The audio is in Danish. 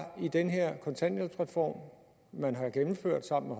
den her kontanthjælpsreform man har gennemført sammen